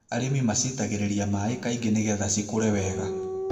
Arĩmi macitagĩrĩria maĩ kaingĩ nĩgetha cikũrwe wega.